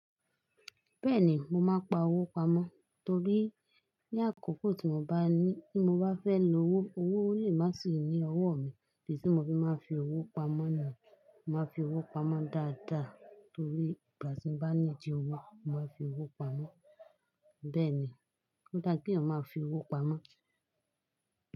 Bẹ́ẹ̀ni mo máa pa owó pamọ́, torí ní àkókò tí mo bá ní, tí mo bá fẹ́ lo owó, owó ò le má sì ní ọwọ́ mi. Tí tí mo bá fi owó pamọ́ ni, màá fi owó pamọ́ dáadáa, torí ìgbà tí mo bá need owó, màá fi owó pamọ́. Bẹ́ẹ̀ ni, ó dá pé ọmọ máa fi owó pamọ́.